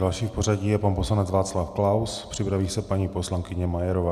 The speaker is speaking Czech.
Další v pořadí je pan poslanec Václav Klaus, připraví se paní poslankyně Majerová.